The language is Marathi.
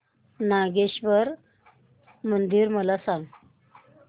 नागेश्वर मंदिर मला सांग